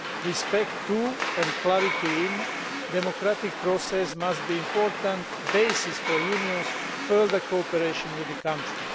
Respect for and clarity in democratic processes must be an important basis for the Union's further cooperation with the country.